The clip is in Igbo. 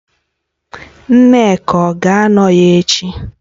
Nneka ọ ga-anọ ya echi?